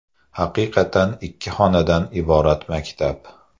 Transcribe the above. Haqiqatan ikki xonadan iborat maktab.